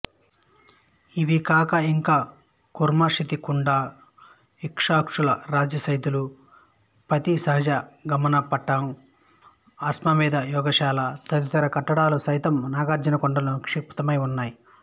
ఇవికాక ఇంకా కుర్మశతికుండ ఇక్షాకుల రాజసైదాలు పతీసహజమణగట్టం ఆశ్వమేధ యాగశాల తదితర కట్టడాలు సైతం నాగార్జునకొండలో నిక్షిత్తమై ఉన్నాయి